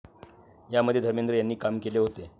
यामध्ये धर्मेंद्र यांनी काम केले होते.